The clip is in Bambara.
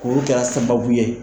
Muru kɛr'a sababu ye